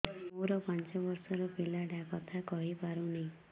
ମୋର ପାଞ୍ଚ ଵର୍ଷ ର ପିଲା ଟା କଥା କହି ପାରୁନି